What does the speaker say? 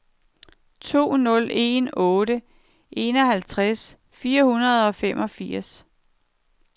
to nul en otte enoghalvtreds fire hundrede og femogfirs